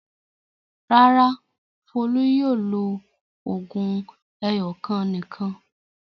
Rárá, Folú yóò lo òògùn ẹyọ̀kan nìkan.